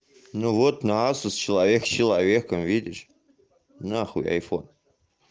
ну вот на асус человек человеком видишь на хуй айфон